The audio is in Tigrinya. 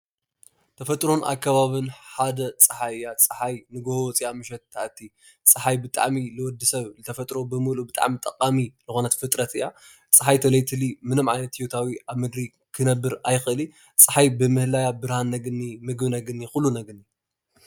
ተፈጥሮን ኣከባብን ሓደ ፀሓይ እያ ፀሓይ ንጉሆ ወፂኣ ምሸት ትኣቲ ፀሓይ ንወድሰብ ብተፈጥሮ ጠቃሚ ዝኾነት ፍጥረት እያ ፣ ፀሓይ እንተዘይትህሊ ምንም ዓይነት ሂወታዊ ኣብ ምድሪ ክትህሊ ኣይትክእልን፣ ፀሓይ መላእ ብርሃን ነግኒ ምግቢ ነግኒ ኩሉ ነገር ነግኒ።